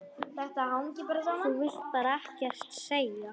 Þú vilt bara ekkert segja.